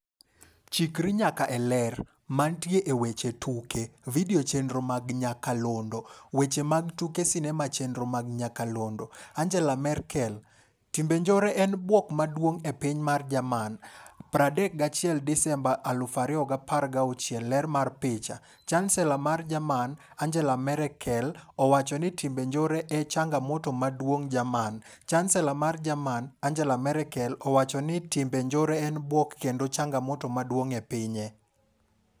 Chikri nyaka e Ler. Mantie e weche tuke. Video chenro mag nyakalondo. Weche mag tuke sinema chenro mag nyakalondo. Angela Merkel: Timbe njore en bwok maduong' e piny mar Jerman, 31 Disemba 2016. Ler mar picha, Chansela mar Jerman. Angela Marekel owacho ni timbe njore e changamoto maduong' Jerman. Chansela mar jerman. Angela Merkel, owacho ni timbe njore en bwok kendo changamoto maduong' e pinye.